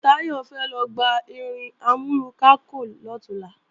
Táyọ̀ fẹ́ lọ gba irin amúrunkákò lọ̀túnla